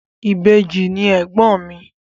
Ìbejì ni ègbọ́n mi.